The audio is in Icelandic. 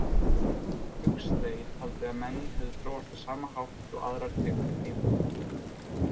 Huxley taldi að menn hefðu þróast á sama hátt og aðrar tegundir dýra.